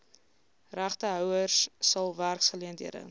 regtehouers sal werksgeleenthede